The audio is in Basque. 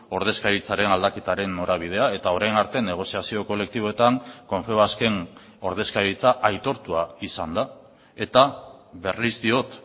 ordezkaritzaren aldaketaren norabidea eta orain arte negoziazio kolektiboetan confebasken ordezkaritza aitortua izan da eta berriz diot